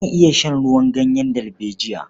Zan iya shan ruwan ganyen dalbejiya.